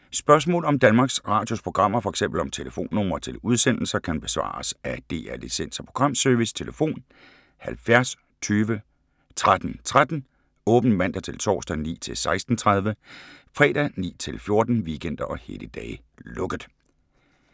Spørgsmål om Danmarks Radios programmer, f.eks. om telefonnumre til udsendelser, kan besvares af DR Licens- og Programservice: tlf. 70 20 13 13, åbent mandag-torsdag 9.00-16.30, fredag 9.00-14.00, weekender og helligdage: lukket.